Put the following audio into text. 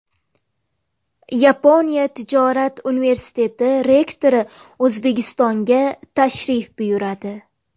Yaponiya tijorat universiteti rektori O‘zbekistonga tashrif buyuradi.